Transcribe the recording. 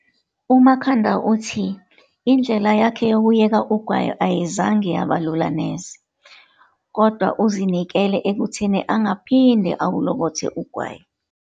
UMakhanda uthi indlela yakhe yokuyeka ugwayi ayizange yaba lula neze, kodwa uzinikele ekutheni angaphinde awulokothe ugwayi.